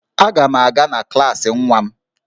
Aga m aga na klaasị nwa m